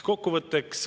Kokkuvõtteks.